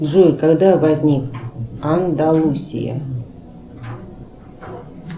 джой когда возник андалусия